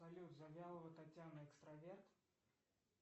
салют завьялова татьяна экстраверт